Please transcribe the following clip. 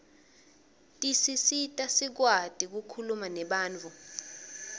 tisisita sikwati kukhuluma nebantfu